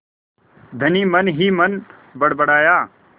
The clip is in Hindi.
धनी मनहीमन बड़बड़ाया